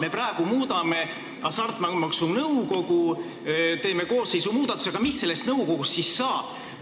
Me praegu muudame Hasartmängumaksu Nõukogu koosseisu, aga mis sellest nõukogust siis saab?